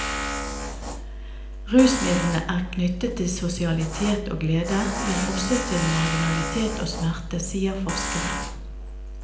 Rusmidlene er knyttet til sosialitet og glede, men også til marginalitet og smerte, sier forskeren.